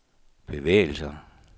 bevægelser